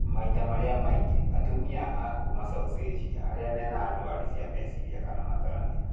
Maita marĩa maingi, atumia a kuma Caucasia arĩa mena ndwari cia meciria kana matarania